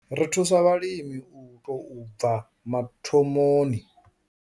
Ri thusa vhalimi u tou bva mathomoni.